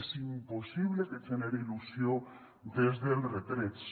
és impossible que genere il·lusió des dels retrets